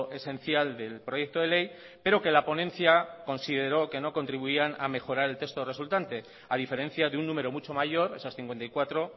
esencial del proyecto de ley pero que la ponencia consideró que no contribuían a mejorar el texto resultante a diferencia de un número mucho mayor esas cincuenta y cuatro